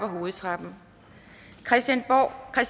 hovedtrappen christiansborg er